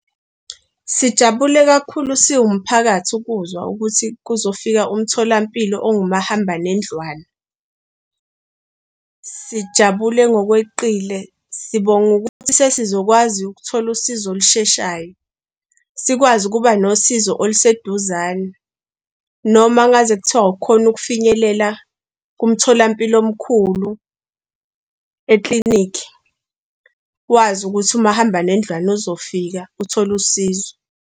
Sijabule kakhulu, siwumphakathi ukuzwa ukuthi kuzofika umtholampilo owumahamba nendlwana, sijabule ngokweqile, sibonga ukuthi sesizokwazi ukuthola usizo olusheshayo, sikwazi ukuba nosizo oluseduzane noma ngaze kuthiwa awukhoni ukufinyelela kumtholampilo omkhulu eklinikhi, wazi ukuthi umahamba nendlwana uzofika uthole usizo.